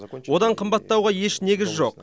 одан қымбаттауға еш негіз жоқ